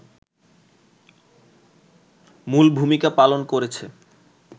মূল ভূমিকা পালন করেছে